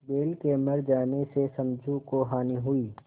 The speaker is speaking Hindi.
बैल के मर जाने से समझू को हानि हुई